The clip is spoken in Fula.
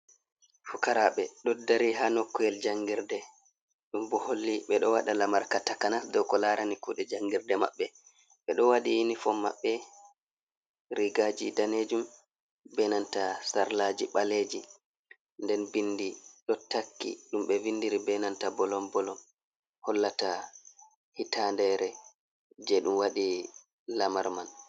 Fukarabe do dari ha noku’el jangirde bedo wada lamar ka takana do ko larani kude jangirde mabbe ,be do wadi unifom mabbe rigaji danejum benanta sarlaji baleji nden bindi do takki dum be vindiri benanta bolom bolom hollata hitandere je dum wadi lamar man.